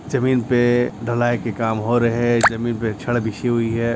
जमीन पे ढलाई के काम हो रहे है जमीन पे छड़ बिछी हुई है।